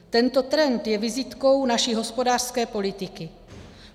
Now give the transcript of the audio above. Tento trend je vizitkou naší hospodářské politiky.